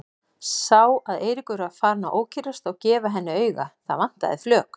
Sá að Eiríkur var farinn að ókyrrast og gefa henni auga, það vantaði flök.